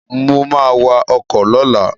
Mo ma wa ọkọ̀ lọ́la